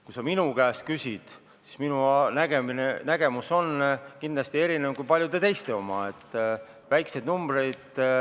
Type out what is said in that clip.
Kui sa minu käest küsid, siis minu nägemus on kindlasti erinev paljude teiste omast.